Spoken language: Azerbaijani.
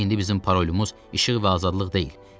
İndi bizim parolumuz işıq və azadlıq deyil.